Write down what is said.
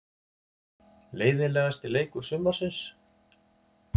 Leiðinlegasti leikur sumarsins?